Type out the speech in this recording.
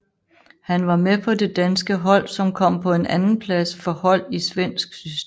Han var med på det danske hold som kom på en andenplads for hold i svensk system